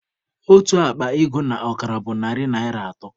Otu akpa ego na ọkara bụ narị naịra atọ